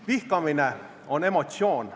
Vihkamine on emotsioon.